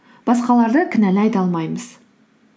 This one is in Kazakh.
басқаларды кінәлай да алмаймыз